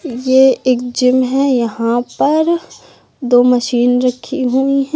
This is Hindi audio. ये एक जिम है यहां पर दो मशीन रखी हुई है।